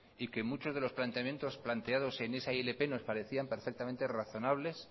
y que muchos de los planteamientos planteados en esa ilp nos parecía perfectamente razonables